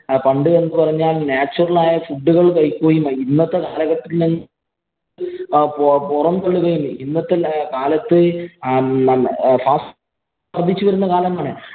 പണ്ട് എന്ന് പറഞ്ഞാല്‍ natural ആയ food ഉകള്‍ കഴിക്കുകയും, ഇന്നത്തെ കാലഘട്ടം ഇന്നത്തെ കാലത്ത് fast വരുന്ന കാലമാണ്.